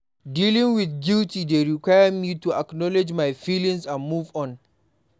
Dealing with guilt dey require me to acknowledge my feelings and move on.